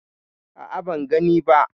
A'a, ban gani ba.